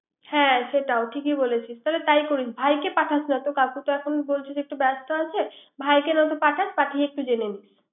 হ্যা সেটাও ঠিকই বলিছিস। তাহলে তাই করিস। ভাইকে পাঠাস না তো কাকু বলছে এখন একটু ব্যাস্ত আছে। ভাইকে নয়তো পাঠাস পাঠিয়ে একটু জেনে নিস